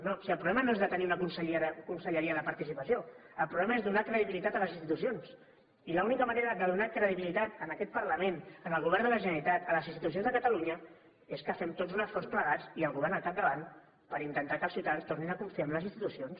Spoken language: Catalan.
no si el problema no és de tenir una conselleria de participació el problema és donar credibilitat a les institucions i l’única manera de donar credibilitat a aquest parlament al govern de la generalitat a les institucions de catalunya és que fem tots un esforç plegats i el govern al capdavant per intentar que els ciutadans tornin a confiar en les institucions